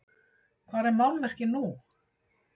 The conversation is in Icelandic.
Hvar er málverkið nú?